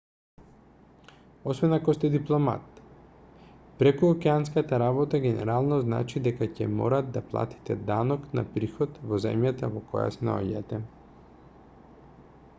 освен ако сте дипломат прекуокеанската работа генерално значи дека ќе мора да платите данок на приход во земјата во која се наоѓате